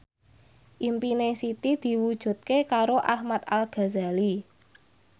impine Siti diwujudke karo Ahmad Al Ghazali